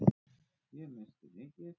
Ég missti mikið.